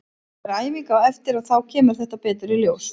Það er æfing á eftir og þá kemur þetta betur í ljós.